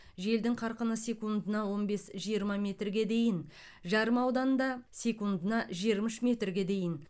желдің қарқыны секундына он бес жиырма метрге дейін жарма ауданында секундына жиырма үш метрге дейін